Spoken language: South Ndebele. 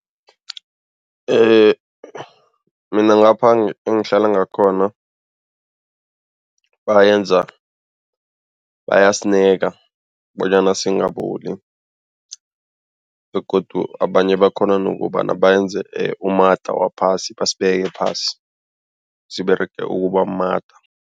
Mina ngapha engihlala ngakhona bayasineka bonyana singaboli begodu abanye bakhona nokobana benze umada waphasi, basibeka phasi siberege ukuba mumada.